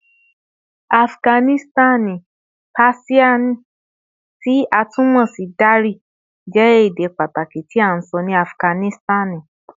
Afiganisitani Persian, ti a tun mọ si Dari, jẹ ede pataki ti a sọ ni Afiganisitani